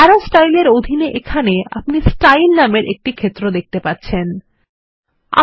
আরো স্টাইলস এর অধীনে এখানে আপনি স্টাইল নামের ক্ষেত্র দেখতে পাবেন